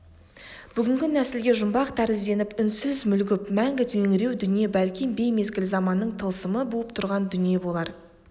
бүгінгі нәсілге жұмбақ тәрізденіп үнсіз мүлгіп мәңгі меңіреу дүние бәлки беймезгіл заманның тылсымы буып тұрған дүние болар